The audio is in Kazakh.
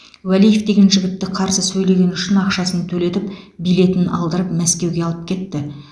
уәлиев деген жігітті қарсы сөйлегені үшін ақшасын төлетіп билетін алдырып мәскеуге алып кетті